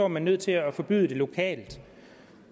man nødt til at forbyde det lokalt